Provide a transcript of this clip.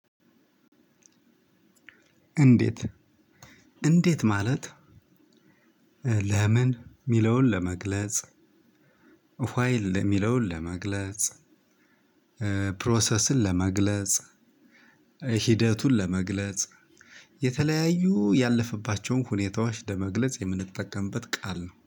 እንዴት እንዴት ማለት ለምን የሚለውን ለመግለጽ ኋይ የሚለውን ለመግለጽ ፕሮሰስን ለመግለጽ ሂደቱን ለመግለጽ የተለያዩ ያለፈባቸውን ሁኔታዎች ለመግለጽ የምንጠቀምበት ቃል ነው